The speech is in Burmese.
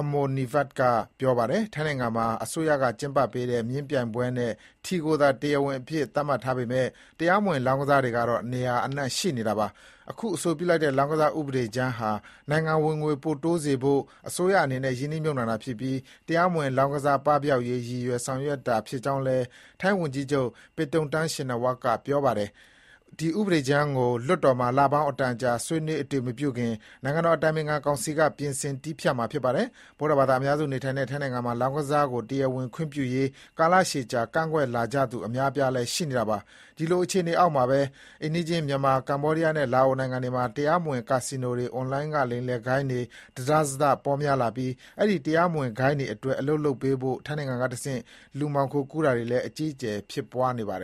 Amornvivat က ပြောပါတယ်။ ထိုင်းနိုင်ငံမှာ၊ အစိုးရကကျင်းပပေးတဲ့ မြင်းပြိုင်ပွဲနဲ့ ထီကိုသာ တရားဝင်အဖြစ် သတ်မှတ်ထားပေမယ့် တရားမဝင် လောင်းကစားကတော့ နေရာအနှံ့ရှိနေတာပါ။ အခုအဆိုပြုလိုက်တဲ့ လောင်းကစား ဥပဒေကြမ်းဟာ နိုင်ငံ့ဝင်ငွေပိုတိုးစေဖို့ အစိုးရအနေနဲ့ ရင်းနှီးမြှုပ်နှံ တာဖြစ်ပြီး တရားမဝင် လောင်းကစားပပျောက်ရေး ရည်ရွယ်ဆောင်ရွက်တာဖြစ်ကြောင်း ထိုင်းဝန်ကြီး ချုပ် Paetongtarn Shinawatra ကလည်း ပြောပါတယ်။ ဒီဥပဒေကြမ်းကို ပါလီမန်လွှတ်တော်မှာ လပေါင်း အတန်ကြာဆွေးနွေး အတည်မပြုခင် နိုင်ငံတော်အတိုင်ပင်ခံကောင်စီက ပြင်ဆင်တည်းဖြတ် မှာ ဖြစ်ပါတယ်။ ဗုဒ္ဓဘာသာအများစုနေထိုင်တဲ့ထိုင်းနိုင်ငံမှာ လောင်းကစားကို တရားဝင်ခွင့်ပြုရေး ကာလကြာရှည် ကန့်ကွက်လာကြသူ အများအပြားလည်း ရှိနေတာပါ။ ဒီလို အခြေအနေအောက်မှာပဲ အိမ်နီးချင်း မြန်မာ၊ ကမ္ဘောဒီးယားနဲ့ လာအို နိုင်ငံတွေမှာ တရားမဝင် ကာစီနိုတွေ၊ အွန်လိုင်းကလိမ်လည်တဲ့ဂိုဏ်းတွေ တစတစပေါများလာပြီး အဲဒီ တရားမဝင်ဂိုဏ်းတွေ အတွက် အလုပ်လုပ်ပေးဖို့ ထိုင်းနိုင်ငံကနေတဆင့် လူမှောင်ခိုကူးတာတွေလည်း အကြီးအကျယ် ဖြစ်ပွါးနေပါတယ်